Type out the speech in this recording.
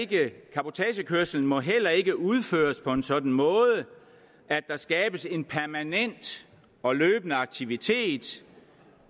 cabotagekørslen må heller ikke udføres på en sådan måde at der skabes en permanent og løbende aktivitet